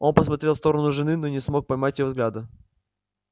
он посмотрел в сторону жены но не мог поймать её взгляда